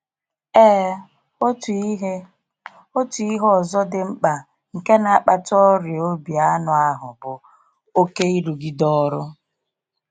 Ee, otu ihe otu ihe ọzọ dị mkpa nke na akpata ọrịa obi anụ ahụ bụ oke irugide ọrụ.